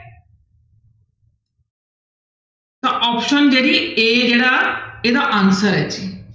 ਤਾਂ option ਜਿਹੜੀ a ਜਿਹੜਾ ਇਹਦਾ answer ਹੈ ਜੀ।